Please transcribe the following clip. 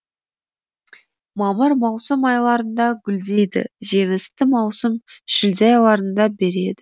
мамыр маусым айларында гүлдейді жемісті маусым шілде айларында береді